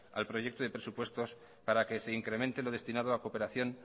al proyecto de presupuestos para que se incremente lo destinado a cooperación